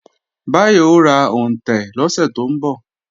Báyọ̀ ó ra òǹtẹ̀ lọ́sẹ̀ tó ń bọ̀